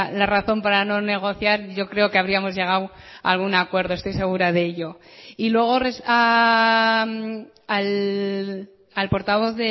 la razón para no negociar yo creo que habríamos llegado a algún acuerdo estoy segura de ello y luego al portavoz